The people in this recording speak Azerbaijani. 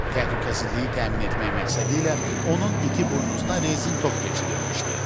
Təhlükəsizliyi təmin etmək məqsədilə onun iti buynuzuna rezin top keçirilmişdi.